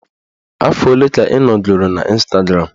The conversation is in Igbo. Afọ ole ka ị nọgoro n'Ịstagram?